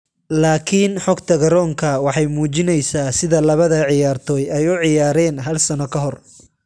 Laakiin xogta garoonka waxay muujinaysaa sida labada ciyaartoy ay u ciyaareen hal sano ka hor.